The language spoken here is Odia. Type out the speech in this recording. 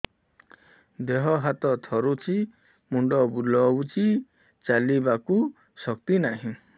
ଦେହ ହାତ ଥରୁଛି ମୁଣ୍ଡ ବୁଲଉଛି ଚାଲିବାକୁ ଶକ୍ତି ନାହିଁ